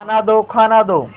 खाना दो खाना दो